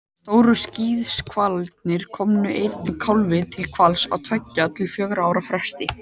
Stóru skíðishvalirnir koma einum kálfi til hvals á tveggja til fjögurra ára fresti.